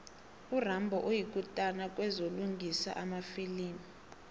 urambo yikutani kwezokulingisa emafilimini